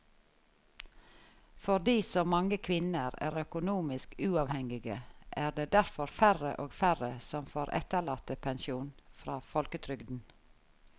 Fordi så mange kvinner er økonomisk uavhengige er det derfor færre og færre som får etterlattepensjon fra folketrygden.